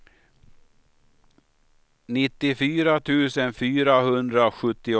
nittiofyra tusen fyrahundrasjuttiosex